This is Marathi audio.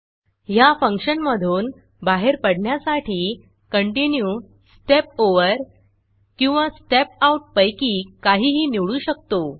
ह्या फंक्शनमधून बाहेर पडण्यासाठी Continueकंटिन्यू स्टेप Overस्टेप ओवर किंवा स्टेप Outस्टेप आउट पैकी काहीही निवडू शकतो